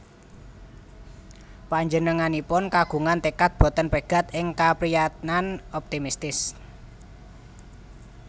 Panjenenganipun kagungan tekad boten pegat ing kaprayitnan optimistis